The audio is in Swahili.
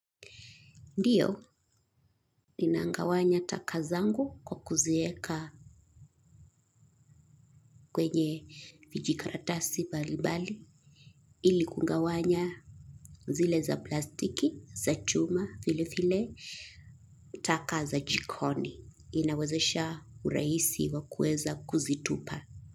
Ndiyo, ninagawanya taka zangu kwa kuziweka kwenye vijikaratasi mbalimbali ili kugawanya zile za plastiki, za chuma vilevile taka za jikoni inawezesha urahisi wa kuweza kuzitupa.